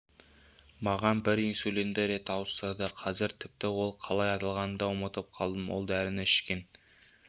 маған бір инсулинді рет ауыстырды қазір тіпті ол қалай аталатынын да ұмытып қалдым ол дәріні ішкен